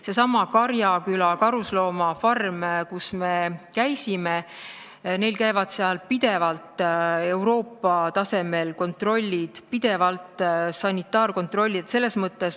Sealsamas Karjaküla karusloomafarmis, kus me käisime, käivad pidevalt Euroopa tasemel kontrollid, pidevalt käivad seal ka sanitaarkontrollid.